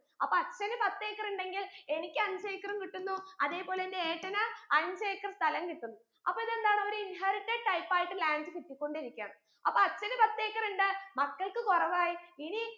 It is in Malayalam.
അപ്പൊ അച്ഛന് പത്ത് acre ഇണ്ടെങ്കിൽ എനിക്ക് അഞ്ച്‌ acre ഉം കിട്ടുന്നു അതെ പോലെ എന്റെ ഏട്ടന് അഞ്ച്‌ acre സ്ഥലം കിട്ടുന്നു അപ്പൊ ഇതെന്താണ് ഒരു inherited type ആയിട്ട് land കിട്ടിക്കൊണ്ടിരിക്കയാണ് അപ്പൊ അച്ഛന് പത്ത് acre ഉണ്ട് മക്കൾക്ക് കുറവായി ഇനി